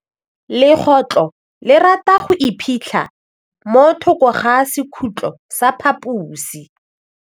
Legôtlô le rata go iphitlha mo thokô ga sekhutlo sa phaposi.